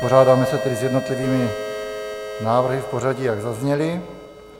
Vypořádáme se tedy s jednotlivými návrhy v pořadí, jak zazněly.